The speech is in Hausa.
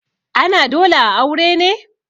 ana dole a aure ne?